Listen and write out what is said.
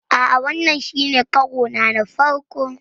A'a, wannan shi ne karona na farko.